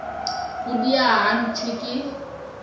go diega ga tšhwene ke